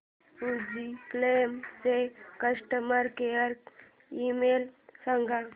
Fujifilm चा customer care email सांगा